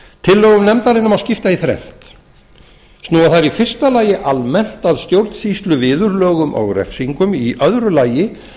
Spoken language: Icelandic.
tillögum nefndarinnar má skipta í þrennt snúa þær í fyrsta lagi almennt að stjórnsýsluviðurlögum og refsingum í öðru lagi